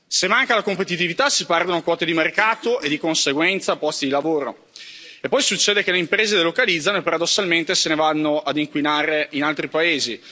Se manca la competitività si perdono quote di mercato e di conseguenza posti di lavoro e poi succede che le imprese delocalizzano e paradossalmente se ne vanno a inquinare in altri paesi.